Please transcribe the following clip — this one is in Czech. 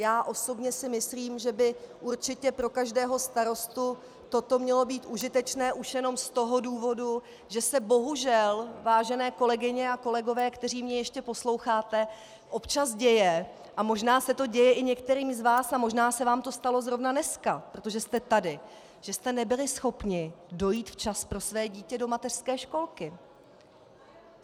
Já osobně si myslím, že by určitě pro každého starostu toto mělo být užitečné už jenom z toho důvodu, že se bohužel, vážené kolegyně a kolegové, kteří mě ještě posloucháte, občas děje, a možná se to děje i některým z vás a možná se vám to stalo zrovna dneska, protože jste tady, že jste nebyli schopni dojít včas pro své dítě do mateřské školky.